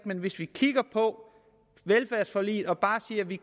men hvis vi kigger på velfærdsforliget og bare siger at vi